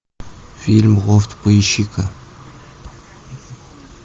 фильм лофт поищи ка